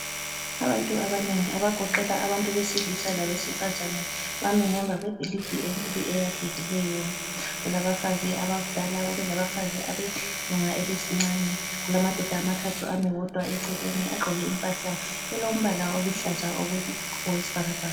Abantu abanengi abagoqela abantu abesilisa labesifazane bami ngemva kwebhilidi enkulu eyakhekileyo , kulabafazi abakudala kube labafazi abelunga elesincane, ulamadoda abathathu ami wodwa eceleni aqgoke impahla elombala oluhlazi okwesibhakabhaka.